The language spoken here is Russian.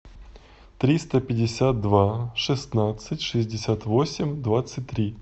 триста пятьдесят два шестнадцать шестьдесят восемь двадцать три